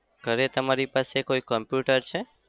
ઘરે તમારી પાસે કોઈ computer છે?